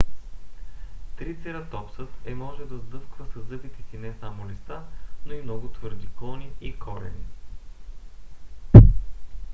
трицератопсът е можел да сдъвква със зъбите си не само листа но и много твърди клони и корени